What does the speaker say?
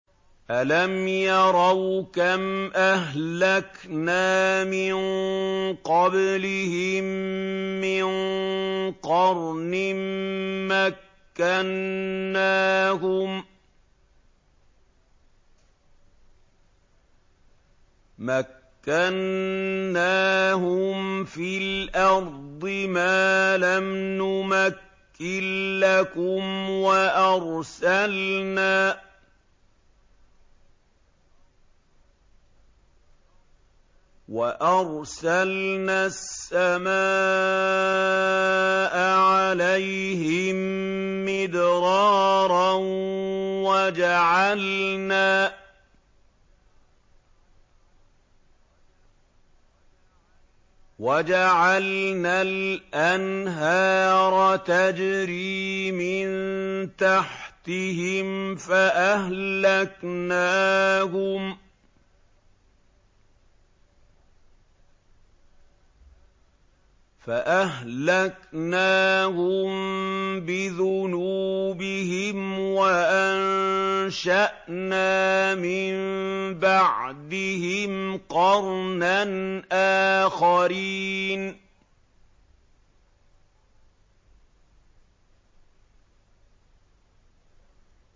أَلَمْ يَرَوْا كَمْ أَهْلَكْنَا مِن قَبْلِهِم مِّن قَرْنٍ مَّكَّنَّاهُمْ فِي الْأَرْضِ مَا لَمْ نُمَكِّن لَّكُمْ وَأَرْسَلْنَا السَّمَاءَ عَلَيْهِم مِّدْرَارًا وَجَعَلْنَا الْأَنْهَارَ تَجْرِي مِن تَحْتِهِمْ فَأَهْلَكْنَاهُم بِذُنُوبِهِمْ وَأَنشَأْنَا مِن بَعْدِهِمْ قَرْنًا آخَرِينَ